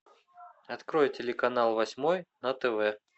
открой телеканал восьмой на тв